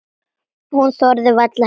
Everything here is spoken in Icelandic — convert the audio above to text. Hún þorði varla heim.